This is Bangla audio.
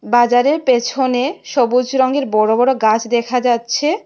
বাজারের পেছনে সবুজ রঙের বড় বড় গাছ দেখা যাচ্ছে।